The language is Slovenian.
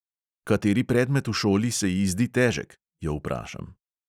Kateri predmet v šoli se ji zdi težek, jo vprašam.